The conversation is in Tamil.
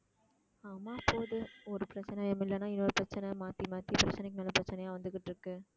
ஆமா போகுது ஒரு பிரச்சனை இல்லைன்னா இன்னொரு பிரச்சனை மாத்தி மாத்தி பிரச்சனைக்கு மேல பிரச்சனையா வந்துகிட்டு இருக்கு